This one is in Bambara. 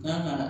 Kan ka